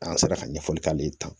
An sera ka ɲɛfɔli k'ale ta